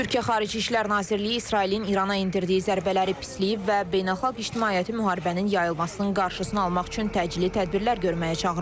Türkiyə Xarici İşlər Nazirliyi İsrailin İrana endirdiyi zərbələri pisləyib və beynəlxalq ictimaiyyəti müharibənin yayılmasının qarşısını almaq üçün təcili tədbirlər görməyə çağırıb.